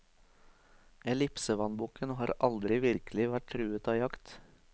Ellipsevannbukken har aldri virkelig vært truet av jakt.